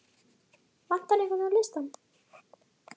Vantar einhvern á listann?